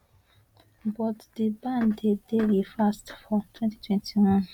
but di ban dey dey reversed for 2021